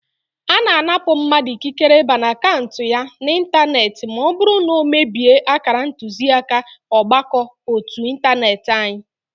Ana anapụ mmadụ ikikere ịba n'akaụntụ ya na ịntanetị ma ọ bụrụ na ọ mebie akara ntuziaka ọgbakọ ótú ịntanetị anyị